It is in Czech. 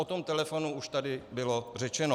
O tom telefonu už tady bylo řečeno.